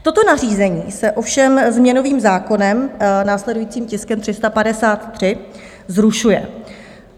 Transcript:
Toto nařízení se ovšem změnovým zákonem, následujícím tiskem 353, zrušuje.